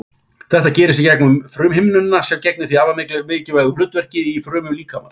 Þetta gerist í gegnum frumuhimnuna sem gegnir því afar mikilvægu hlutverki í frumum líkamans.